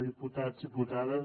diputats diputades